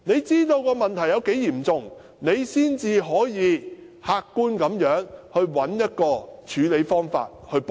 知道問題的嚴重性之後，才可以客觀地找出方法補救。